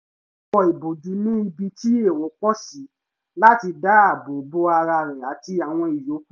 ó wọ ìbòjú ní ibi tí èrò pọ̀ sí láti dá àbò bo ara rẹ̀ àti àwọn ìyókù